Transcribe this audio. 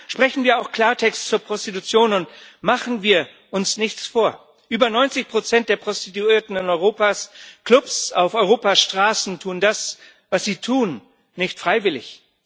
Sprechen wir auch Klartext zur Prostitution, und machen wir uns nichts vor Über 90 der Prostituierten in Europas Klubs, auf Europas Straßen tun das, was sie tun, nicht freiwillig.